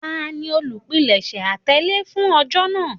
Tani olupilẹṣẹ atẹle fun ọjọ naa?